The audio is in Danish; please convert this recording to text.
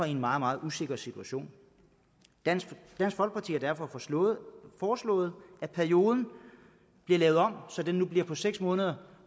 i en meget meget usikker situation dansk folkeparti har derfor foreslået at perioden bliver lavet om så den nu bliver på seks måneder